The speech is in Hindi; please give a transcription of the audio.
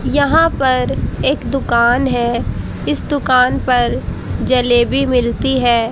यहां पर एक दुकान है इस दुकान पर जलेबी मिलती है।